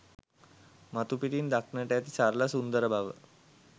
මතුපිටින් දක්නට ඇති සරල සුන්දර බව